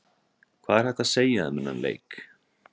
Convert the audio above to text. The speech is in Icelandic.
Hvað er hægt að segja um þennan leik?